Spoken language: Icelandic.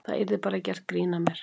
Það yrði bara gert grín að mér.